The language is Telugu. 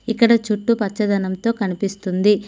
ఇక్కడ చుట్టూ పచ్చదనం తో కనిపిస్తుంది.